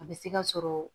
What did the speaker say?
A bɛ se ka sɔrɔ